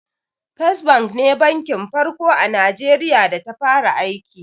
First Bank ne banki na farko a Najeriya da ta fara aiki.